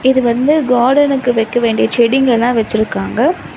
இது வந்து கார்டனுக்கு வெக்க வேண்டிய செடிங்கலா வச்சுருக்காங்க.